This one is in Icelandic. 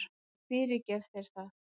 Ég fyrirgef þér það.